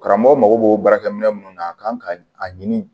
Karamɔgɔ mago b'o baarakɛminɛn minnu na a kan ka a ɲini